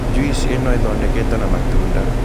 Juice ĩno ĩthondeketwo na matunda.